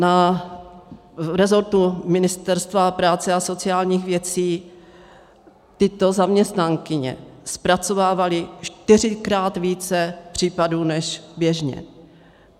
V resortu Ministerstva práce a sociálních věcí tyto zaměstnankyně zpracovávaly čtyřikrát více případů než běžně.